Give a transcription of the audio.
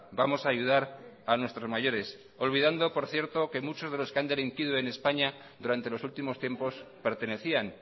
vamos a ayudar a nuestros mayores olvidando por cierto que muchos de los que han delinquido en españa durante los últimos tiempos pertenecían